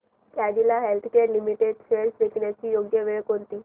Cadila healthcare limited shares विकण्याची योग्य वेळ कोणती